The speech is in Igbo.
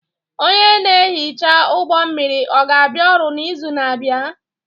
Onye na-ehicha ụgbọ mmiri ọ ga-abịa ọrụ n'izu na-abịa?